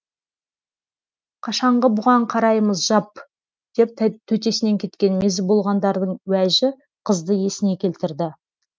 қашанғы бұған қараймыз жап деп төтесінен кеткен мезі болғандардың уәжі қызды есіне келтірді